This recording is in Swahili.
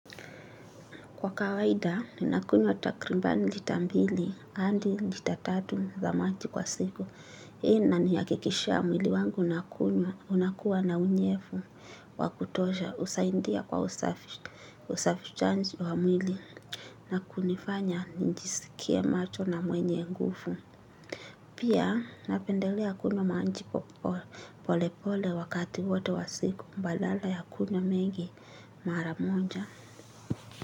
Kwa kawaida, ni nakunywa takriban lita mbili andi lita tatu za maji kwa siku. Hii inani hakikishia mwili wangu nakunywa unakuwa na unyefu wakutoja. Husaindia kwa usafishaji, wa mwili na kunifanya njisikie macho na mwenye ngufu. Pia napendelea kuna manji pole pole wakati wote wa siku mbalala ya kunywa mengi mara moja.